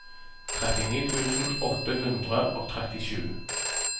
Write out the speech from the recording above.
trettini tusen åtte hundre og trettisju